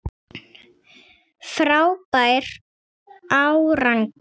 Frábær árangur